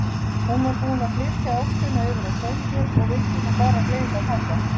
Hún var búin að flytja ástina yfir á Sveinbjörn og vildi nú bara gleyma pabba.